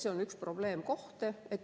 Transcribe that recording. See on üks probleemkohti.